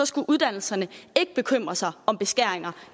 skulle uddannelserne ikke bekymre sig om beskæringer